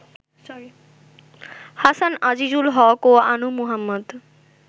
হাসান আজিজুল হক ও আনু মুহাম্মদ